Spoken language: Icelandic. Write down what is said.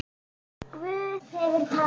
Guð hefur talað.